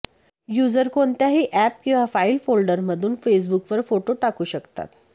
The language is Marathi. यूजर कोणत्याही अॅप किंवा फाइल फोल्डरमधून फेसबुकवर फोटो टाकू शकतात